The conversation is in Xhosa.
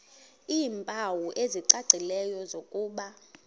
iimpawu ezicacileyo zokuba